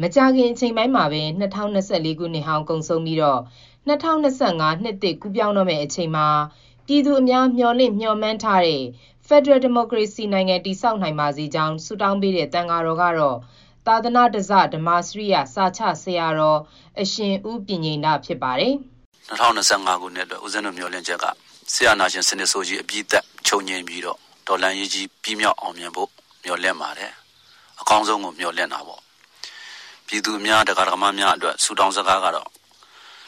မကြာခင်အချိန်ပိုင်းမှာပဲ ၂၀၂၄ နှစ်ဟောင်းကုန်ဆုံးပြီး ၂၀၂၅ နှစ်သစ်ကူးပြောင်းပါတော့မယ်။ ၂၀၂၅ ခုနှစ်ထဲမှာ ပြည်သူအများ မျှော်လင့်မျှော်မှန်းထားတဲ့ ဖက်ဒရယ်ဒီမိုကရေစီနိုင်ငံ တည်ဆောက်နိုင် ပါစေကြောင်း ဆုတောင်းပေးတဲ့ သံဃာတော်ကတော့ သာသနဓဇ ဓမ္မာစရိယ စာချဆရာတော် အရှင်ဦးပညိန္ဒ ဖြစ်ပါတယ်။ "၂၀၂၅ အတွက် ဦးဇင်းတို့မျှော်လင့်ချက်က စစ်အာဏာရှင်ဆိုးကြီး အပြီးသတ် ချုပ်ငြိမ်းပြီးတော့ တော်လှန်ရေးကြီး အပြီးသတ်ဖို့ မျှော်လင့်ပါတယ်။ အကောင်းဆုံးကို မျှော်လင့်တာပေါ့။ ပြည်သူတွေ၊ ဒကာဒယကာမတွေအတွက် ဆုတောင်းစကားကတော့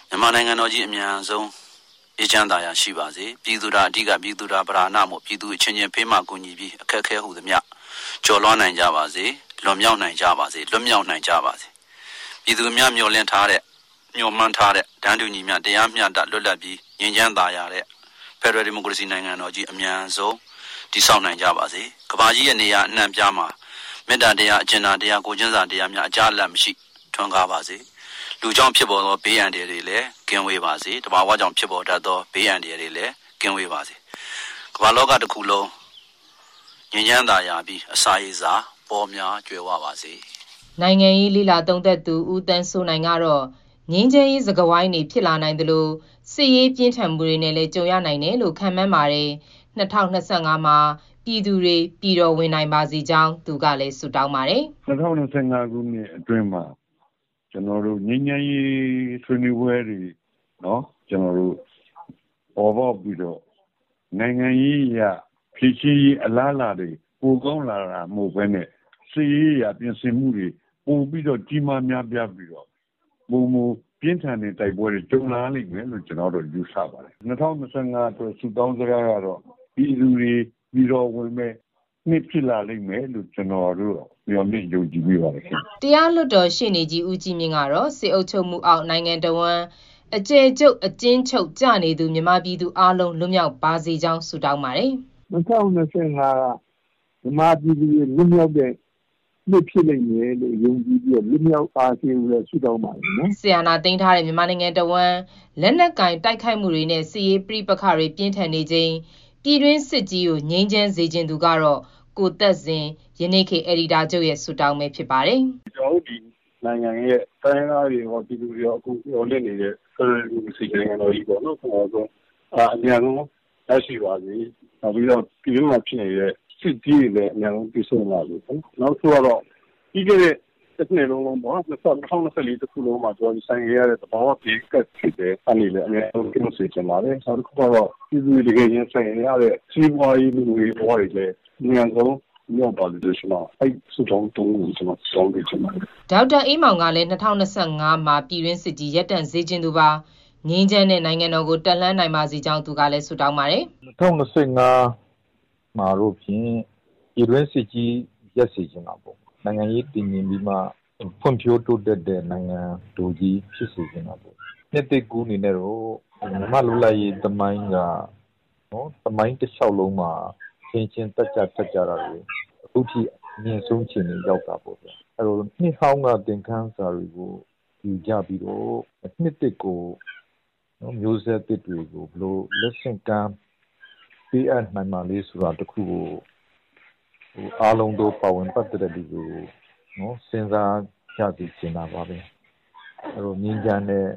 မြန်မာနိုင်ငံတော်ကြီး အမြန်ဆုံး အေးချမ်း သာယာရှိပါစေ။ ပြည်သူသာအဓိက ပြည်သူသာပဓာနမို့အချင်းချင်း ဖေးမကူညီပြီး အခက်အခဲ ဟူသမျှ ကျော်လွှားနိုင်ကြပါစေ၊ လွန်မြောက်နိုင်ကြပါစေ၊ လွတ်မြောက်နိုင်ကြပါစေ။ ပြည်သူအများ မျှော်လင့်ထားတဲ့၊ မျှော်မှန်းထားတဲ့ တန်းတူညီမျှ တရားမျှတ လွတ်လပ်ပြီး ငြိမ်းချမ်းသာယာတဲ့ ဖက်ဒရယ်ဒီမိုကရေစီနိုင်ငံကြီး အမြန်ဆုံး တည်ဆောက်နိုင်ကြပါစေ။ ကမ္ဘာကြီးရဲ့ နေရာအနှံ့အပြားမှာ မေတ္တာတရား၊ အကြင်နာတရား ကိုယ်ချင်းစာတရားများ အကြားအလပ်မရှိ ထွန်းကားပါစေ၊ လူ ကြောင့်ဖြစ်တဲ့ ဘေးအန္တရာယ်တွေ ကင်းဝေးပါစေ။ သဘာဝကြောင့်ဖြစ်ပေါ်တတ်သော ဘေးအန္တရာယ် တွေလည်း ကင်းဝေးပါစေ။ ကမ္ဘာလောကတခုလုံး ငြိမ်းချမ်းသာယာပြီး အစာရေစာပေါများ ကြွယ်ဝပါစေ။" နိုင်ငံရေးလေ့လာသုံးသပ်သူ ဦးသန်းစိုးနိုင် ကတော့ ငြိမ်းချမ်းရေးစကားဝိုင်းတွေ ဖြစ်လာနိုင်သလို စစ်ရေးပြင်းထန်မှုတွေနဲ့လည်း ကြုံရနိုင်တယ်လို့ ခန့်မှန်းပါတယ်။ ၂၀၂၅ မှာ ပြည်သူတွေ ပြည်တော်ဝင်နိုင်ပါစေကြောင်းလည်း သူက ဆုတောင်းပါတယ်။ "၂၀၂၅ မှာ ငြိမ်းချမ်းရေးဆွေးနွေးပွဲတွေ ပေါ်ပေါက်ပြီးတော့ နိုင်ငံရေးအရ ဖြေရှင်းရေးအလားလာ ပိုကောင်းလာတာ မဟုတ်ဘဲနဲ့ စစ်ရေး အရပြင်ဆင်မှုတွေ ပိုကြီးမား များပြားပြီးတော့ ပိုမိုပြင်းထန်တဲ့ တိုက်ပွဲတွေ ကြုံလာရမယ်လို့ ကျနော်ယူဆမိပါတယ်။ ၂၀၂၅ ဆုတောင်းကတော့ ပြည်သူတွေ ပြည်တော်ဝင်မယ့်နှစ် ဖြစ်လာလိမ့်မယ်လို့ ကျနော်တို့ မျှော်လင့်မိပါတယ်။" တရားလွှတ်တော်ရှေ့နေကြီး ဦးကြီးမြင့်ကတော့ စစ်အုပ်ချုပ်မှုအောက် နိုင်ငံတဝန်း အကျယ်ချုပ် အကျဉ်းချုပ်ကျနေသူ မြန်မာပြည်သူအားလုံး လွတ်မြောက်ပါစေကြောင်း ဆုတောင်းပါတယ်။ "၂၀၂၅က မြန်မာပြည်သူတွေ လွတ်မြောက်မယ့်နှစ်ဖြစ်မယ်လို့ ယုံကြည်ပြီးတော့ လွတ်မြောက်ပါစေလို့ ဆုတောင်းပါတယ်နော်။" စစ်အာဏာသိမ်းထားတဲ့ မြန်မာနိုင်ငံတဝန်း လက်နက်ကိုင် တိုက်ခိုက်မှုတွေနဲ့ စစ်ရေးပဋိပက္ခတွေ ပြင်းထန်နေချိန် ပြည်တွင်းစစ်ကြီး ငြိမ်းစေချင်သူကတော့ ကိုသက်ဇင် ရဲ့ ဆုတောင်း ဖြစ်ပါတယ်။ "ကျနော်တို့နိုင်ငံရဲ့ တိုင်းရင်းသားတွေကော၊ ပြည်သူတွေကော အကုန်မျှော်လင့်နေတဲ့ ဖက်ဒရယ် ဒီမိုကရေစီနိုင်ငံတော်ကြီး အမြန်ဆုံး ရပါစေ။ ပြည်တွင်းမှာဖြစ်နေတဲ့ စစ်ကြီးတွေလည်း အမြန်ဆုံး ပြီးဆုံးပါစေ။ နောက်တခုကတော့ ပြီးခဲ့တဲ့နှစ်မှာ ရင်ဆိုင်ခဲ့ရတဲ့ သဘာဝဘေးတွေ၊ ၂၀၂၄ မှာခံရတဲ့ သဘာဝဘေးတွေအကုန် ဒီနှစ်မှာ လွတ်မြောက်စေချင်ပါတယ်။ နောက်ပြည်သူတွေ တကယ် ရင်ဆိုင်နေရတဲ့ စီးပွားရေး လူမှုရေးဘဝ အခက်အခဲတွေလည်း အမြန်ဆုံး လွတ်မြောက်ပါစေလို့ ကျနော် ဆုတောင်းပေးချင်ပါတယ်။" ဒေါက်တာအေးမောင် ကလည်း ၂၀၂၅ မှာ ပြည်တွင်းစစ်ကြီး ရပ်တန့်စေချင်သူပါ။ ငြိမ်းချမ်းတဲ့ နိုင်ငံတော်ကို တက်လှမ်းနိုင်ပါစေကြောင်း သူကလည်း ဆုတောင်းပါတယ်။ "၂၀၂၅ မှာတော့ဖြင့် ပြည်တွင်းစစ်ကြီး ရပ်စေချင်တာပေါ့။ နိုင်ငံရေးတည်ငြိမ်ပြီးမှ ဖွံ့ဖြိုးတိုးတက်တဲ့ နိုင်ငံတော်ကြီးဖြစ်စေချင်တာပေါ့။ နှစ်သစ်ကူးအနေနဲ့ မြန်မာ့လွတ်လပ်ရေးသမိုင်းက သမိုင်းတလျှောက်လုံးမှာ အချင်းချင်းသတ်ဖြတ်ကြတာတွေခုထိ အမြင့်ဆုံး အခြေအနေ ရောက်တာ ပေါ့ဗျာ။ နှစ်ဟောင်းက သင်ခန်းစာတွေကို ယူကြပြီးတော့ နှစ်သစ်ကို မျိူးဆက်သစ်တွေကို ဘယ်လို လက်ဆင့်ကမ်း ပေးအပ်နိုင်မလဲ ဆိုတာတခုကို အားလုံးသော ပါဝင်ပတ်သတ်သူတွေကို စဉ်းစားကြစေ ချင်တာပါဘဲ။ ငြိမ်းချမ်းတဲ့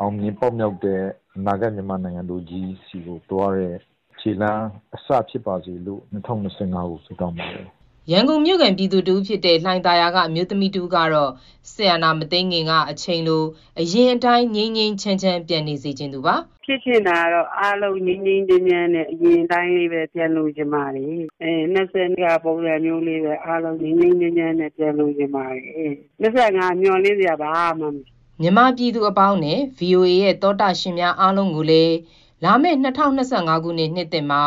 အောင်မြင် ပေါက်မြောက်တဲ့ အနာဂါတ် မြန်မာနိုင်ငံဆီကိုသွားတဲ့ ခြေလှမ်းအစဖြစ်ပါစေလို့ ဆုတောင်းပါတယ်။" ရန်ကုန်မြို့ခံ ပြည်သူတဦးဖြစ်တဲ့ လှိုင်သာယာက အမျိုးသမီးတဦးကတော့ စစ်အာဏာမသိမ်းခင်က အချိန်လို အရင်အတိုင်း ငြိမ်းငြိမ်းချမ်းချမ်း ပြန်နေစေချင်သူပါ။ "ဖြစ်ချင်တာကတော့ အားလုံး ငြိမ်းငြိမ်းချမ်းချမ်းနဲ့ အရင်အတိုင်းလေးပဲ ပြန်လိုချင်ပါတယ်။ ၂၀၂၀ ကလို ပုံစံမျိူးလေးပဲ ငြိမ်းငြိမ်းချမ်းချမ်း ပြန်လိုချင်ပါတယ်။ ၂၀၂၅ မှာတော့ မျှော်လင့်စရာ ဘာမှမရှိပါဘူး။" မြန်မာပြည်သူအပေါင်းနဲ့ ဗွီအိုအေရဲ့သောတရှင်များအားလုံးကိုလည်း လာမယ့် ၂၀၂၅ ခုနှစ် နှစ်သစ်မှာ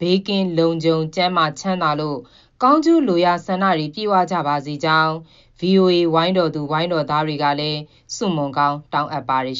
ဘေးကင်းလုံခြုံ ကျန်းမာချမ်းသာလို့ ကောင်းကျိုးလိုရာဆန္ဒတွေ ပြည့်ဝကြပါစေကြောင်း ဗွီအိုအေ ဝိုင်းတော်သူ ဝိုင်းတော်သားတွေကလည်း ဆုမွန်ကောင်းတောင်းအပ်ပါတယ်